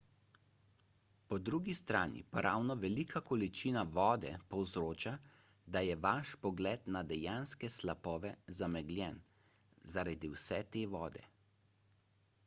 po drugi strani pa ravno velika količina vode povzroča da je vaš pogled na dejanske slapove zamegljen – zaradi vse te vode